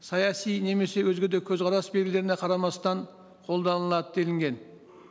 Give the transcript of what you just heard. саяси немесе өзге де көзқарас белгілеріне қарамастан қолданылады делінген